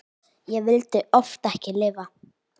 Og vildi oft ekki lifa.